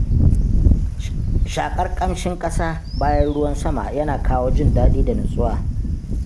shaƙar ƙamshin ƙasa bayan ruwan sama yana kawo jin daɗi da nutsuwa.